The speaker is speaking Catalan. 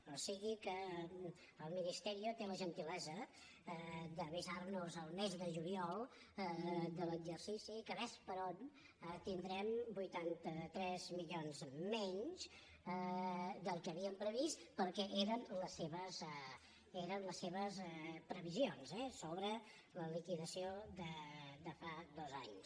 o sigui que el ministerio té la gentilesa d’avisar nos el mes de juliol de l’exercici que ves per on tindrem vuitanta tres milions menys del que havíem previst perquè eren les seves previ sions eh sobre la liquidació de fa dos anys